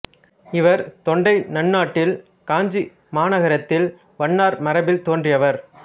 இவர் தொண்டை நன்னாட்டில் காஞ்சி மாநகரத்தில் வண்ணார் மரபில் தோன்றியவர்